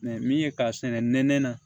min ye k'a sɛnɛ nɛnɛ na